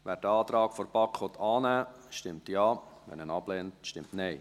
Wer den Antrag der BaK annehmen will, stimmt Ja, wer diesen ablehnt, stimmt Nein.